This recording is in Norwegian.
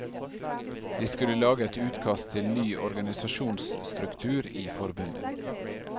De skulle lage et utkast til ny organisasjonsstruktur i forbundet.